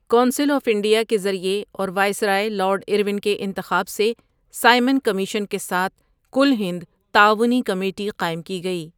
Council of India کے ذریعے اور وائسرائے لارڈ ارون کے انتخاب سے سائمن کمیشن کے ساتھ کل ہند تعاونی کمیٹی قائم کی گئی۔